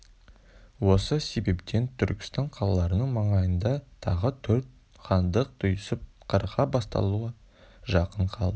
осы себептен түркістан қалаларының маңайында тағы төрт хандық түйісіп қырғын басталуға жақын қалды